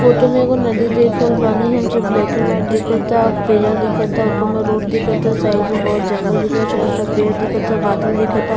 Photo में एगो नदी देख रहल बानी हम जो ब्लैक एण्ड व्हाइट दिखता और पिलर दिखता ऊपर में रोड दिखअ ता साइड में बहुत जंगल दिखा छोटा-छोटा पेड़ दिखता बादल दिखता।